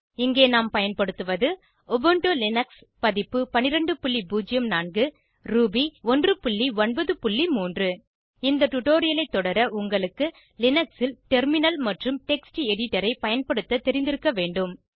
இங்கே நாம் பயன்படுத்துவது உபுண்டு லினக்ஸ் பதிப்பு 1204 ரூபி 193 இந்த டுடோரியலை தொடர உங்களுக்கு லினக்ஸில் டெர்மினல் மற்றும் டெக்ஸ்ட் எடிடரை பயன்படுத்த தெரிந்திருக்க வேண்டும்